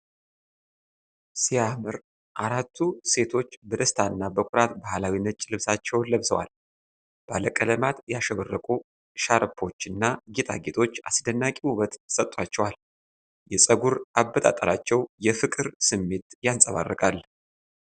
ሲያምር! አራቱ ሴቶች በደስታ እና በኩራት ባህላዊ ነጭ ልብሳቸውን ለብሰዋል። ባለቀለማት ያሸበረቁ ሻርፖችና ጌጣጌጦች አስደናቂ ውበት ሰጥቷቸዋል። የፀጉር አበጣጠራቸው የፍቅር ስሜት ያንፀባርቃል።